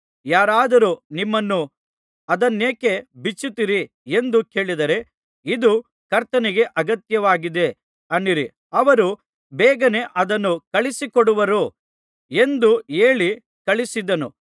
ಯಾರಾದರೂ ನಿಮ್ಮನ್ನು ಅದನ್ನೇಕೆ ಬಿಚ್ಚುತ್ತೀರಿ ಎಂದು ಕೇಳಿದರೆ ಇದು ಕರ್ತನಿಗೆ ಅಗತ್ಯವಾಗಿದೆ ಅನ್ನಿರಿ ಅವರು ಬೇಗನೆ ಅದನ್ನು ಕಳುಹಿಸಿಕೊಡುವರು ಎಂದು ಹೇಳಿ ಕಳುಹಿಸಿದನು